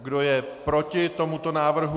Kdo je proti tomuto návrhu?